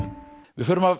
við förum af